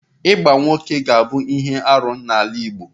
Ịgba nwoke ka bụ ihe arụ n'ala Igbo.